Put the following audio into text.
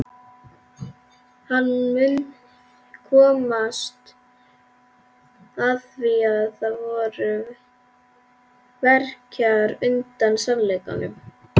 Hann mun komast að því að það verkjar undan sannleikanum.